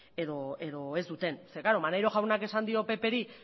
edo ez duten zeren maneiro jaunak esan dio ppri